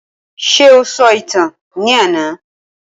Ṣé o sọ ìtàn ní àná?